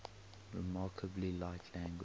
remarkably like language